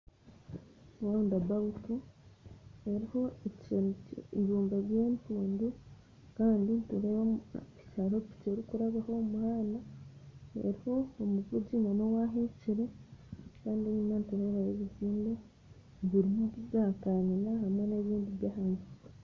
Egi ni round about eruho ebibumba by'empundu kandi nitureeba haruho piki erukurabaho omuhanda eruho omuvugi n'owahekyire kandi enyuma nturebayo ebizimbe biri zakanyina hamwe n'ebindi byahansi.